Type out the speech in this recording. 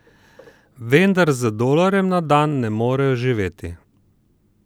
Vendar z dolarjem na dan ne morejo živeti.